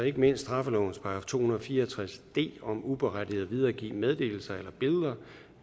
ikke mindst straffelovens § to hundrede og fire og tres d om uberettiget at videregive meddelelser eller billeder